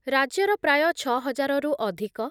ରାଜ୍ୟର ପ୍ରାୟ ଛ ହଜାରରୁ ଅଧିକ